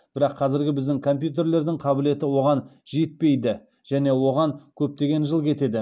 бірақ қазіргі біздің компьютерлердің қабілеті оған жетпейді және оған көптеген жыл кетеді